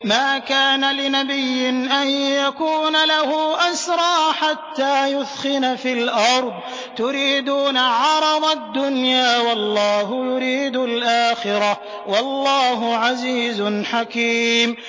مَا كَانَ لِنَبِيٍّ أَن يَكُونَ لَهُ أَسْرَىٰ حَتَّىٰ يُثْخِنَ فِي الْأَرْضِ ۚ تُرِيدُونَ عَرَضَ الدُّنْيَا وَاللَّهُ يُرِيدُ الْآخِرَةَ ۗ وَاللَّهُ عَزِيزٌ حَكِيمٌ